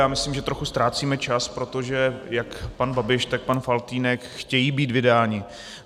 Já myslím, že trochu ztrácíme čas, protože jak pan Babiš, tak pan Faltýnek chtějí být vydáni.